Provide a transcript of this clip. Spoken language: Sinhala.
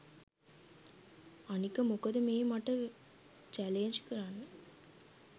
අනික මොකද මේ මට වැලේන්ජ් කරන්න